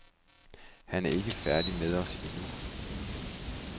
Han er ikke færdig med os endnu.